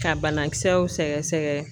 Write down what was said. Ka banakisɛw sɛgɛsɛgɛ.